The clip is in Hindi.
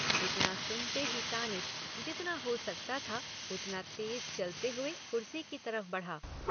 इतना सुनते ही तानिश जितना हो सकता था उतना तेज चलते हुए कुर्सी की तरफ़ बढ़ा।